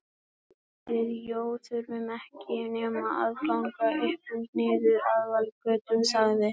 Sko við Jói þurfum ekki nema að ganga upp og niður aðalgötuna sagði